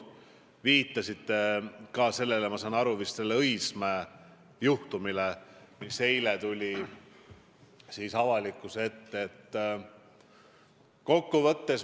Te viitasite ka sellele, ma saan aru, Õismäe juhtumile, mis eile avalikkuse ette tuli.